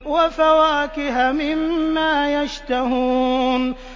وَفَوَاكِهَ مِمَّا يَشْتَهُونَ